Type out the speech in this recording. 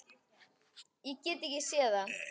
Ég get ekki séð það.